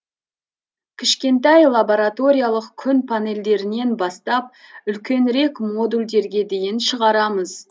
кішкентай лабораториялық күн панельдерінен бастап үлкенірек модульдерге дейін шығарамыз